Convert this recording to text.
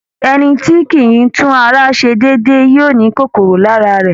Ẹ̀ni tí kìí tún ara ṣe déédé yóò ní kòkòrò lára rẹ